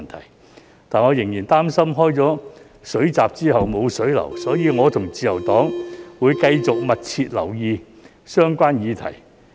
但是，我仍然擔心開了水閘之後無水流，所以我和自由黨會繼續密切留意相關議題。